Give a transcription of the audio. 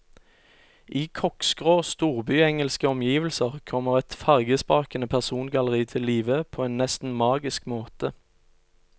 I koksgrå storbyengelske omgivelser kommer et fargesprakende persongalleri til live på en nesten magisk måte.